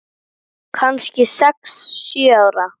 Kannski sex, sjö ára.